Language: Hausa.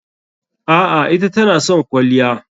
A'a, ita tana son kwalliya.